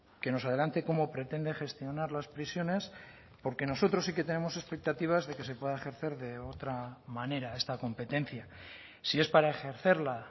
que nos adelante cómo pretende gestionar las prisiones porque nosotros sí que tenemos expectativas de que se pueda ejercer de otra manera esta competencia si es para ejercerla